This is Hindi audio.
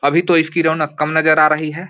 अभी तो इसकी रौनक कम नजर आ रही है।